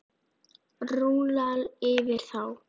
Rúlla yfir þá!